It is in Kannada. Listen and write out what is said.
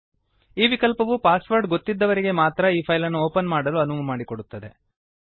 ಈ ವಿಕಲ್ಪವು ಪಾಸ್ ವರ್ಡ್ ಗೊತ್ತಿದ್ದವರಿಗೆ ಮಾತ್ರ ಈ ಪೈಲ್ ಅನ್ನು ಓಪನ್ ಮಾಡಲು ಅನುವು ಮಾಡಿಕೊಡುತ್ತದೆ